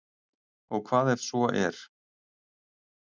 Og hvað ef svo er?